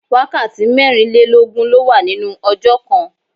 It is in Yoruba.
Wákàtí mẹ́rin lé lógún ló wà nínú ọjọ́ kan.